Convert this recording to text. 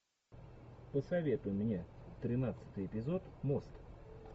посоветуй мне тринадцатый эпизод мост